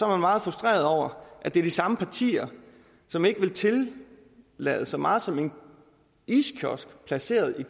meget frustreret over at det er de samme partier som ikke vil tillade så meget som en iskiosk placeret